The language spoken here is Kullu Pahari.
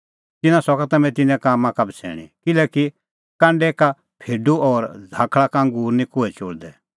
तिन्नां सका तम्हैं तिन्नें कामां का बछ़ैणीं किल्हैकि कांडै का फेडू और झ़ाकल़ा का अंगूर निं कोहै चोल़दै